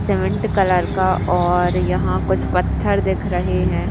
Cement colour का और यहा कुछ पत्थर दिख रहे है।